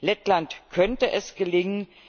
Lettland könnte es gelingen.